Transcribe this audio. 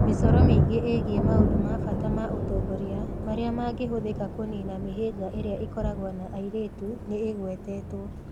Mĩcoro mĩingĩ ĩgiĩ maũndũ ma bata ma ũtongoria marĩa mangĩhũthĩka kũniina mĩhĩnga ĩrĩa ikoragwo na airĩtu nĩ ĩgwetetwo: